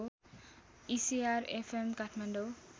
ECR FM Kathmandu